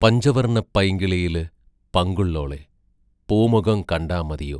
പഞ്ചവർണ്ണ പൈങ്കിളിയിൽ പങ്കുള്ളോളെ , പൂമൊകം കണ്ടാ മതിയോ